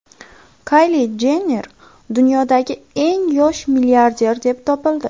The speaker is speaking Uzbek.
Kayli Jenner dunyodagi eng yosh milliarder deb topildi.